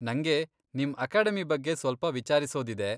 ನಂಗೆ ನಿಮ್ ಅಕೆಡಮಿ ಬಗ್ಗೆ ಸ್ವಲ್ಪ ವಿಚಾರಿಸೋದಿದೆ.